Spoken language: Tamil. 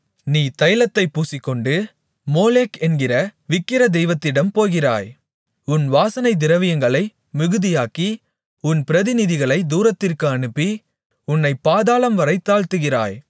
நீ தைலத்தைப் பூசிக்கொண்டு மொளேக் என்கிற விக்கிர தெய்வத்திடம் போகிறாய் உன் வாசனைத்திரவியங்களை மிகுதியாக்கி உன் பிரதிநிதிகளைத் தூரத்திற்கு அனுப்பி உன்னைப் பாதாளம்வரை தாழ்த்துகிறாய்